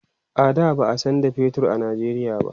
a da ba'a San da fetur a Nigeria ba